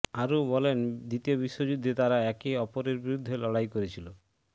আরও বলেন দ্বিতীয় বিশ্বযুদ্ধে তারা একে অপরের বিরুদ্ধে লড়াই করেছিল